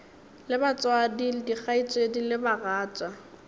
le batswadi dikgaetšedi le bagatša